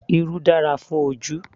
Irú dára fún ojú